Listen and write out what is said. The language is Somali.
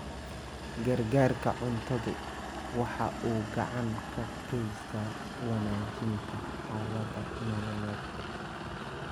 Gargaarka cuntadu waxa uu gacan ka geystaa wanaajinta xaaladaha nololeed.